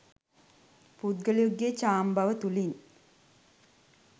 පුද්ගලයෙකුගේ චාම්බව තුළින්